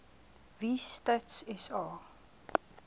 wie stats sa